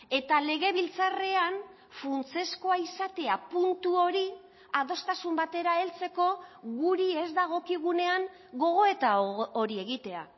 eta legebiltzarrean funtsezkoa izatea puntu hori adostasun batera heltzeko guri ez dagokigunean gogoeta hori egitea